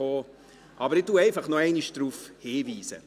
Ich weise einfach nochmals darauf hin.